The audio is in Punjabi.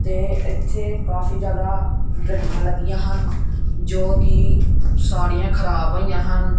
ਤੇ ਇੱਥੇ ਕਾਫੀ ਜਿਆਦਾ ਗੱਡੀਆਂ ਲੱਗੀਆਂ ਹਨ ਜੋ ਕਿ ਸਾਰੀਆਂ ਖਰਾਬ ਹੋਈਆਂ ਹਨ।